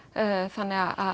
þannig að